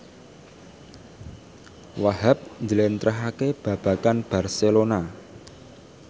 Wahhab njlentrehake babagan Barcelona